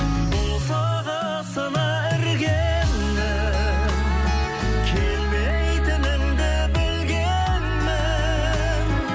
босағасына іргеңнің келмейтініңді білгенмін